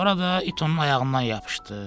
Orada it onun ayağından yapışdı.